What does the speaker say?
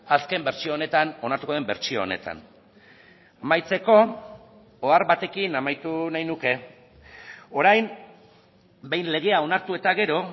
azken bertsio honetan onartuko den bertsio honetan amaitzeko ohar batekin amaitu nahi nuke orain behin legea onartu eta gero